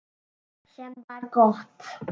Sem var gott.